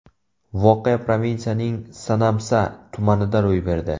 Voqea provinsiyaning Sanamsa tumanida ro‘y berdi.